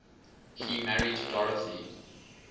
he married dorothy